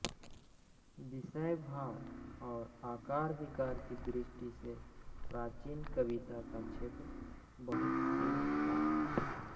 विषय भाव और आकार प्रकार की दृष्टि से प्राचीन कविता का क्षेत्र बहुत सीमित था